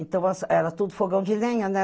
Então, as era tudo fogão de lenha, né?